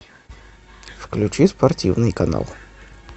включи спортивный канал